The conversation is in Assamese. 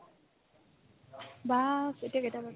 বাছ, এতিয়া কেইটা বাজিলে ?